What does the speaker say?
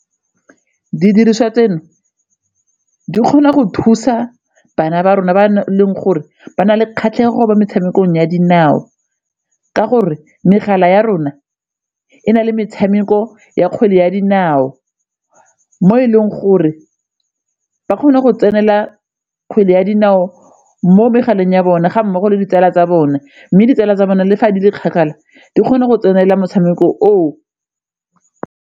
Didiriswa tseno di kgona go thusa bana ba rona ba na leng gore ba na le kgatlhego mo metshamekong ya dinao ka gore megala ya rona e na le metshameko ya kgwele ya dinao mo e leng gore ba kgone go tsenela kgwele ya dinao mo megaleng ya bone ga mmogo le ditsala tsa bone mme ditsala tsa bone le fa di le kgakala di kgone go tsenela motshameko oo.